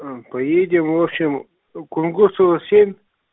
а поедем в общем кунгурцева семь